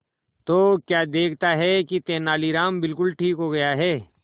तो क्या देखता है कि तेनालीराम बिल्कुल ठीक हो गया है